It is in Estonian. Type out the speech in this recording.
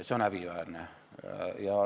See on häbiväärne.